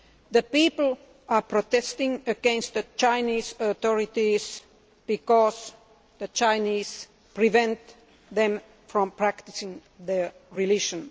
The people are protesting against the Chinese authorities because the Chinese are preventing them from practising their religion.